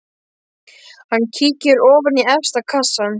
Hann kíkir ofan í efsta kassann.